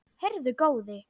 Heyrðu góði!